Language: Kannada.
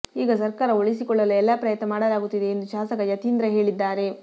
ಈಗ ಸರ್ಕಾರ ಉಳಿಸಿಕೊಳ್ಳಲು ಎಲ್ಲಾ ಪ್ರಯತ್ನ ಮಾಡಲಾಗುತ್ತಿದೆ ಎಂದು ಶಾಸಕ ಯತೀಂದ್ರ ಹೇಳಿದ್ದಾರೆ